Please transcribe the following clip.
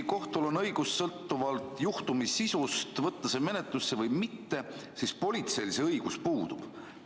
Kohtul on õigus sõltuvalt juhtumi sisust võtta see menetlusse või mitte, aga politseil see õigus puudub.